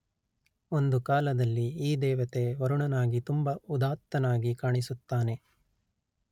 ಒಂದು ಕಾಲದಲ್ಲಿ ಈ ದೇವತೆ ವರುಣನಾಗಿ ತುಂಬ ಉದಾತ್ತನಾಗಿ ಕಾಣಿಸುತ್ತಾನೆ